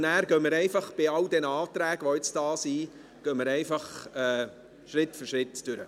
So gehen wir bei all diesen Anträgen, die jetzt vorliegen, einfach Schritt für Schritt vor.